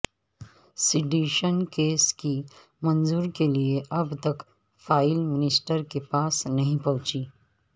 sedation case کی منظور کے لئے اب تک فائیل منسٹر کے پاس نہیں پہنچی